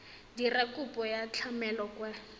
dira kopo ya tlamelo kwa